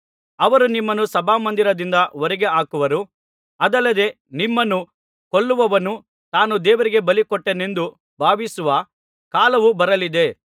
ಅವರು ನಿಮ್ಮನ್ನು ಸಭಾಮಂದಿರದಿಂದ ಹೊರಗೆ ಹಾಕುವರು ಅದಲ್ಲದೆ ನಿಮ್ಮನ್ನು ಕೊಲ್ಲುವವನು ತಾನು ದೇವರಿಗೆ ಬಲಿಕೊಟ್ಟೆನೆಂದು ಭಾವಿಸುವ ಕಾಲವು ಬರಲಿದೆ